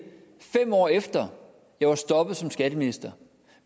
fem år efter jeg var stoppet som skatteminister